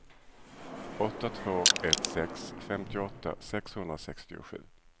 åtta två ett sex femtioåtta sexhundrasextiosju